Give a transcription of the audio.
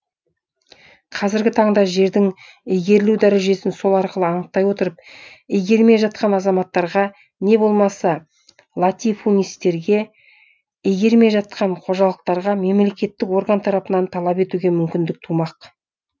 қазіргі таңда жердің игерілу дәрежесін сол арқылы анықтай отырып игермей жатқан азаматтарға не болмаса латифунистерге игермей жатқан қожалықтарға мемлекеттік орган тарапынан талап етуге мүмкіндік тумақ